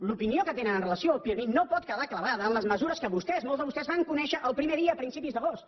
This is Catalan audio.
l’opinió que tenen amb relació al pirmi no pot quedar clavada en les mesures que vostès molts de vostès van conèixer el primer dia a principis d’agost